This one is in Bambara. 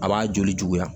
A b'a joli juguya